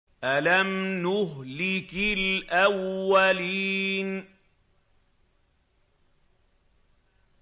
أَلَمْ نُهْلِكِ الْأَوَّلِينَ